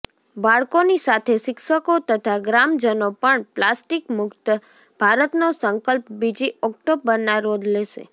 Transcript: બાળકોની સાથે શિક્ષકો તથા ગ્રામજનો પણ પ્લાસ્ટિક મુક્ત ભારતનો સંકલ્પ બીજી ઓક્ટોબરના રોજ લેશે